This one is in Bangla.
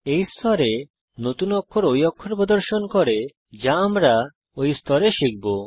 এই স্তরে নতুন অক্ষর ঐ অক্ষর প্রদর্শন করে যা আমরা এই স্তরে শিখব